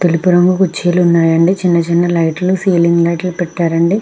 తెలుపు రంగు కుర్చీలు ఉన్నాయండి. చిన్న చిన్న లైట్ లు సీలింగ్ లైట్ లు పెట్టారండి.